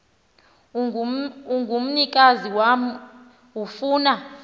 ongumnikazi wam ofuna